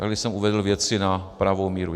Tady jsem uvedl věci na pravou míru.